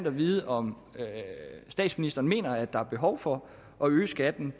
at vide om statsministeren så mener at der er behov for at øge skatten